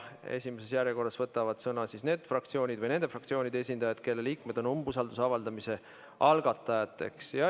Esimeses järjekorras võtavad sõna need fraktsioonid või nende fraktsioonide esindajad, kelle liikmed on umbusalduse avaldamise algatajateks.